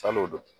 San'o don